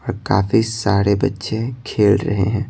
और काफी सारे बच्चे खेल रहे हैं।